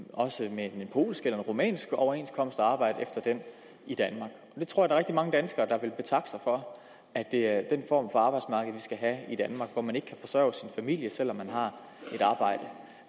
polsk eller en rumænsk overenskomst og arbejde efter den i danmark jeg tror at der er rigtig mange danskere der ville betakke sig for at det er den form for arbejdsmarked vi skal have i danmark hvor man ikke kan forsørge sin familie selv om man har